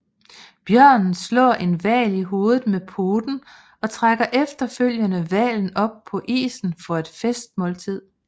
Bjørnen slår en hval i hovedet med poten og trækker efterfølgende hvalen op på isen for et festmåltid